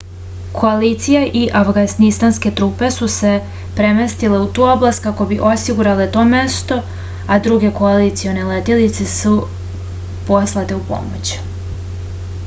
koalicija i avganistanske trupe su se premestile u tu oblast kako bi osigurale to mesto a druge koalicione letelice su poslate u pomoć